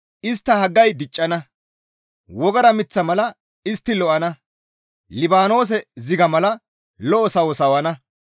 Istta haggay diccana; wogara miththa mala istti lo7ana; Libaanoose ziga mala lo7o sawo sawana.